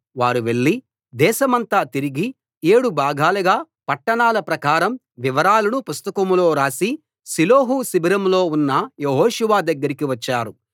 వారు వెళ్లి దేశమంతా తిరిగి ఏడు భాగాలుగా పట్టణాల ప్రకారం వివరాలను పుస్తకంలో రాసి షిలోహు శిబిరంలో ఉన్న యెహోషువ దగ్గరికి వచ్చారు